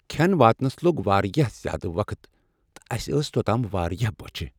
کھین واتنس لوٚگ واریاہ زیادٕ وقت تہٕ اسہ ٲس توتام واریاہ بوچِھہ۔